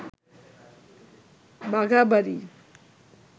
বাঘাবাড়ি